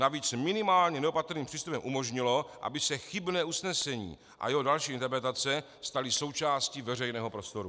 Navíc minimálně neopatrným přístupem umožnilo, aby se chybné usnesení a jeho další interpretace staly součástí veřejného prostoru.